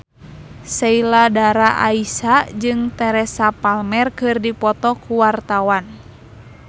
Sheila Dara Aisha jeung Teresa Palmer keur dipoto ku wartawan